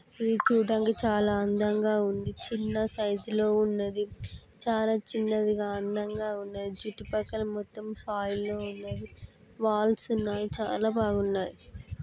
చూడంగ చాలా అందం గా ఉంది చిన్న సైజు లో ఉన్నది చాలా చిన్నది గా అందం గా ఉన్నది చుట్టుపక్కన మొత్తం సాయిల్ లో వున్నది వాల్స్ ఉన్నాయి చాలా బాగున్నాయి